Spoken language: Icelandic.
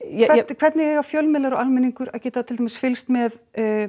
hvernig eiga fjölmiðlar og almenningur að geta til dæmis fylgst með